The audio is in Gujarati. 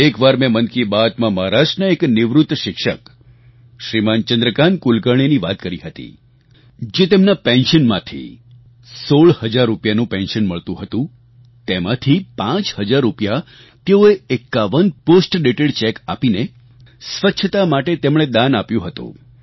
એકવાર મેં મન કી બાતમાં મહારાષ્ટ્રના એક નિવૃત્ત શિક્ષક શ્રીમાન ચંદ્રકાન્ત કુલકર્ણીની વાત કરી હતી જે તેમના પેન્શનમાંથી સોળ હજાર રૂપિયાનું પેન્શન મળતું હતું તેમાંથી પાંચ હજાર રૂપિયા તેઓએ ૫૧ પોસ્ટડેટેડ ચેક આપીને સ્વચ્છતા માટે તેમણે દાન આપ્યું હતું